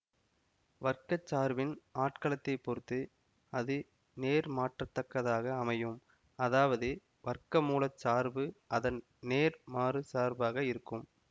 வர்க்கச் சார்பின் ஆட்களத்தைப் பொறுத்து அது நேர்மாற்றத்தக்கதாக அமையும் அதாவது வர்க்கமூலச் சார்பு அதன் நேர்மாறுச் சார்பாக இருக்கும்